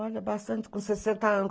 Olha, bastante com sessenta anos.